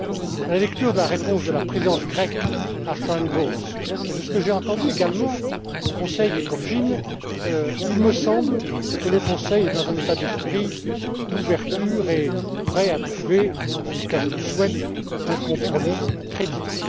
À la lecture de la réponse de la présidence grecque à Sharon Bowles et de ce que j'ai entendu également au Conseil Ecofin, il me semble que le Conseil est dans un état d'esprit d'ouverture et est prêt à trouver en tout cas, je le souhaite un compromis